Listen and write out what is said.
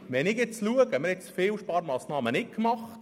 Wir haben viele Sparmassnahmen nicht gemacht.